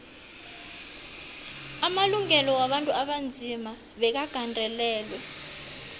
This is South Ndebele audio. amalungelo wabantu abanzima bekagandelelwe